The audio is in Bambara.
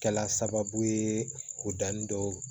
Kɛla sababu ye o danni dɔw